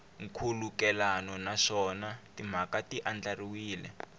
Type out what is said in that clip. nkhulukelano naswona timhaka ti andlariwile